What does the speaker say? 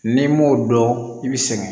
N'i m'o dɔn i bɛ sɛgɛn